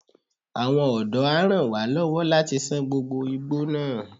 Àwọn ọ̀dọ́ a ràn wá lọ́wọ́ láti ṣán gbogbo igbó náà.